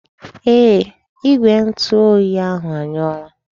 Ee, Igwe ntu oyi ahụ anyụọla.